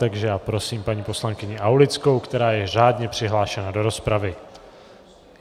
Takže já prosím paní poslankyni Aulickou, která je řádně přihlášena do rozpravy.